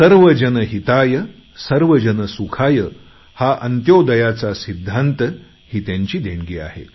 सर्वजन हितायसर्वजन सुखाय हा अन्त्योदयाचा सिद्धांत ही त्यांची देणगी आहे